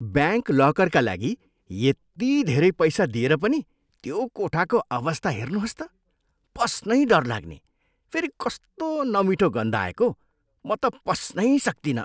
Bank लकरका यति धेरै लागि पैसा दिएर पनि त्यो कोठाको अवस्था हेर्नुहोस् त! पस्नै डर लाग्ने। फेरि कस्तो नमिठो गन्ध आएको! म त पस्नै सक्तिनँ।